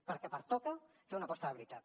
perquè pertoca fer una aposta de veritat